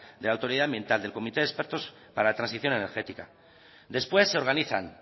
de la autoridad ambiental del comité de expertos para la transición energética después se organizan